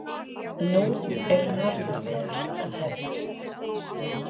Nú eru nornaveiðarnar að hefjast.